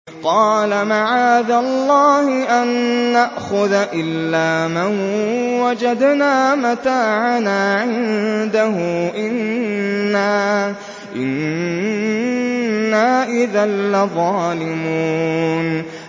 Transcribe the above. قَالَ مَعَاذَ اللَّهِ أَن نَّأْخُذَ إِلَّا مَن وَجَدْنَا مَتَاعَنَا عِندَهُ إِنَّا إِذًا لَّظَالِمُونَ